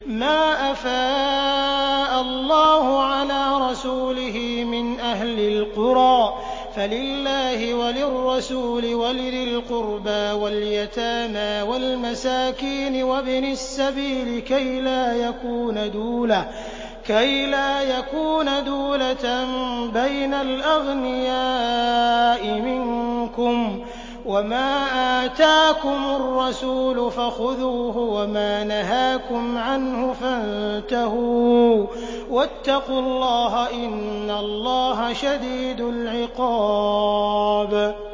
مَّا أَفَاءَ اللَّهُ عَلَىٰ رَسُولِهِ مِنْ أَهْلِ الْقُرَىٰ فَلِلَّهِ وَلِلرَّسُولِ وَلِذِي الْقُرْبَىٰ وَالْيَتَامَىٰ وَالْمَسَاكِينِ وَابْنِ السَّبِيلِ كَيْ لَا يَكُونَ دُولَةً بَيْنَ الْأَغْنِيَاءِ مِنكُمْ ۚ وَمَا آتَاكُمُ الرَّسُولُ فَخُذُوهُ وَمَا نَهَاكُمْ عَنْهُ فَانتَهُوا ۚ وَاتَّقُوا اللَّهَ ۖ إِنَّ اللَّهَ شَدِيدُ الْعِقَابِ